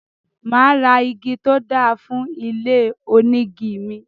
Máa ra igi tó dáa fún ilé onígi mi.